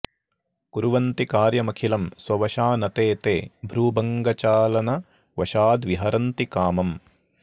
कुर्वन्ति कार्यमखिलं स्ववशा न ते ते भ्रूभङ्गचालनवशाद्विहरन्ति कामम्